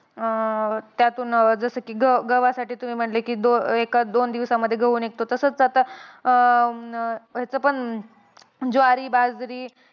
अं त्यातून जसं की ग गव्हासाठी तुम्ही म्हणले की एखाद-दोन दिवसांमध्ये गहू निघतो. तसंच आता अं ह्याचं पण ज्वारी-बाजरी.